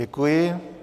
Děkuji.